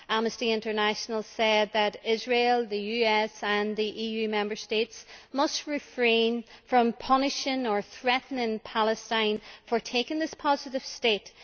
Amnesty International said that Israel, the US and the EU Member States must refrain from punishing or threatening Palestine for taking this positive step.